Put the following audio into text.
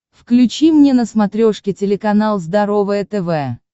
включи мне на смотрешке телеканал здоровое тв